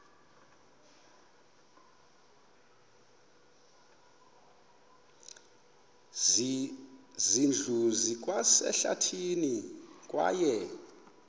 zindlu zikwasehlathini kwaye